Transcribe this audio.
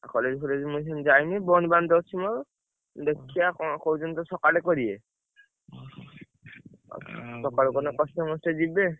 ଆଉ college ଯାଇନି ବନ୍ଦ ବାନ୍ଦ ଅଛି ମୋର ଦେଖିଆ କଣ କହୁଛନ୍ତି ସକାଳୁ କରିବେ ସକାଳୁ କଲେ କଷ୍ଟେ ମଷ୍ଟେ ଯିବି।